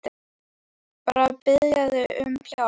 Nei, bara að biðja þig um hjálp.